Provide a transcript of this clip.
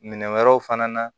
Minɛn wɛrɛw fana na